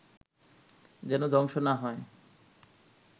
যেন ধ্বংস না হয়